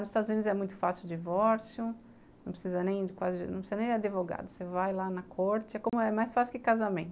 Nos Estados Unidos é muito fácil o divórcio, não precisa nem de advogado, você vai lá na corte, é mais fácil que casamento.